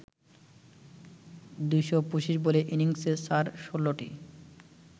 ২২৫ বলের ইনিংসে চার ১৬টি